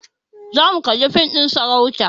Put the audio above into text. Zamu kalli fim ɗin sarauta